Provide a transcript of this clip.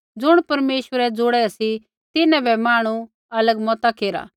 ज़ुण परमेश्वरै ज़ोड़ै सी तिन्हां बै मांहणु अलग मता केरा